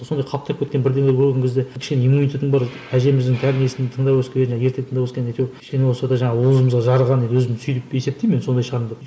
сондай қаптап кеткен бірдеңелер болған кезде кішкене иммунитетің бар әжеміздің тәрбиесін тыңдап өскен және ертегі тыңдап өскен кішкене болса да жаңағы уызымызға жарыған өзімді сөйтіп есептеймін енді сондай шығармын деп